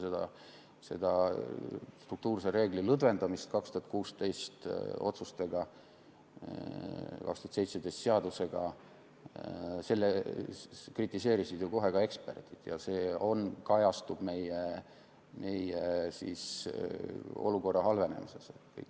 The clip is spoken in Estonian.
Seda struktuurse reegli lõdvendamist 2016. aasta otsustega ja 2017. aasta seadusega kritiseerisid ju kohe ka eksperdid ja see kajastub meie olukorra halvenemises.